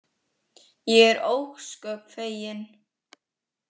Ég er ósköp fegin.